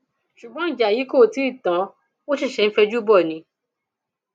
ṣùgbọn ìjà yìí kò tí ì tán ó ṣẹṣẹ ń fẹjú bò ni